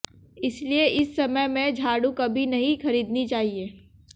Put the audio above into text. इसलिए इस समय में झाड़ू कभी नहीं खरीदनी चाहिए